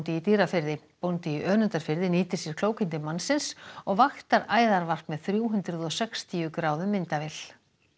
í Dýrafirði bóndi í Önundarfirði nýtir sér klókindi mannsins og vaktar æðarvarp með þrjú hundruð og sextíu gráðu myndavél